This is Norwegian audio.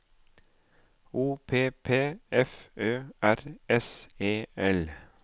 O P P F Ø R S E L